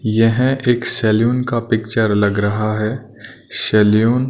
यह एक शैलून का पिक्चर लग रहा है। शैलून --